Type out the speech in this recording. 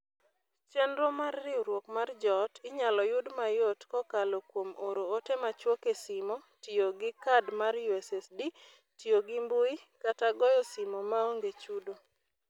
Chenro mar Riwruok mar Joot inyalo yud mayot kokalo kuom oro ote machuok e simo, tiyo gi kad mar USSD, tiyo gimbui, kata goyo simo maonge chudo.